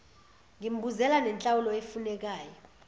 ngimbuzela nenhlawulo efunekayo